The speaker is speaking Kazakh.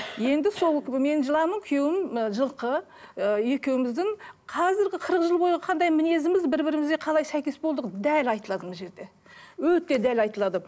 енді сол мен жыланмын күйеуім ы жылқы ы екеуіміздің қазіргі қырық жылғы бойы қандай мінезіміз бір бірімізге қалай сәйкес болдық дәл айтылады мына жерде өте дәл айтылады